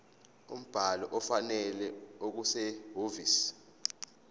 umbhalo ofanele okusehhovisi